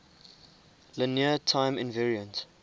linear time invariant